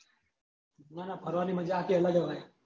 ન ન ફરવાની મજા આખી અલગ જ હોય